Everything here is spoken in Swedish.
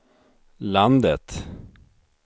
landet